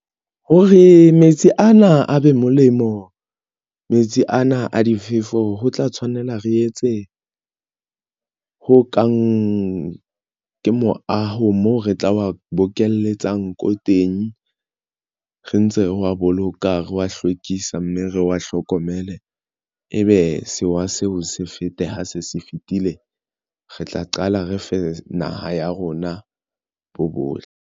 Hore metsi ana a be molemo, metsi ana a difefo ho tla tshwanela re etse ho kang ke moaho moo re tla wa bokelletsa ko teng re ntse re wa boloka re wa hlwekisa mme re wa hlokomele, ebe sewa seo se fete ha se se fetile re tla qala re fe naha ya rona bo .